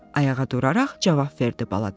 ayağa duraraq cavab verdi bala dəvə.